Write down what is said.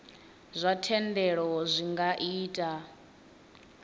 zwa thendelo zwi nga ita